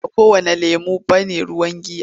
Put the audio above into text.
Ba kowanne lemon ne ruwan giya ba.